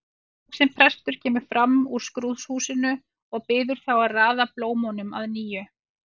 Lágvaxinn prestur kemur fram úr skrúðhúsinu og biður þá að raða blómunum að nýju.